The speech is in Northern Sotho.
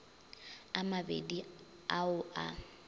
a mabedi a o a